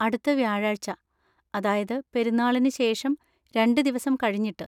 അടുത്ത വ്യാഴാഴ്ച, അതായത് പെരുന്നാളിന് ശേഷം രണ്ട് ദിവസം കഴിഞ്ഞിട്ട്.